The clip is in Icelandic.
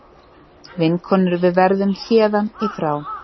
Vinkonur við verðum héðan í frá.